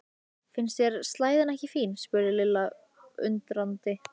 Finnst þér slæðan ekki fín? spurði Lilla undrandi.